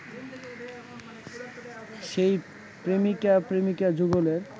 সেই প্রেমিকা-প্রেমিকা যুগলের